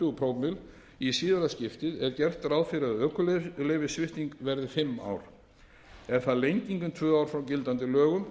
tvö prómill í síðara skiptið er gert ráð fyrir að ökuleyfissvipting verði fimm ár er það lenging um tvö ár frá gildandi lögum